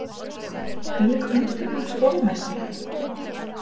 Hvílík undur og stórmerki!